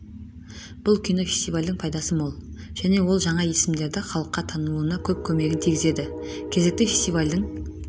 бұл кино фестивальдің пайдасы мол және ол жаңа есімдердің халыққа танылуына көп көмегін тигізеді кезекті фестивальдің